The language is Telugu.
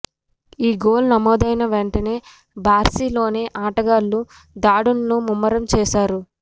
ఈ గోల్ నమోదైన వెంటనే బార్సిలోనా ఆటగాళ్లు దాడులను ముమ్మరం చేశారు